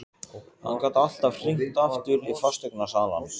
Hann gat alltaf hringt aftur í fasteignasalann.